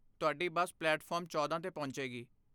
ਤੁਹਾਡੀ bus platform ਚੌਦਾਂ 'ਤੇ ਪਹੁੰਚੇਗੀ